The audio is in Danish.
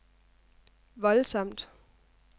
voldsomt